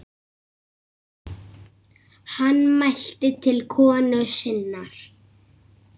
Hann mælti til konu sinnar